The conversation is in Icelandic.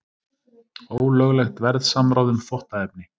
Ólöglegt verðsamráð um þvottaefni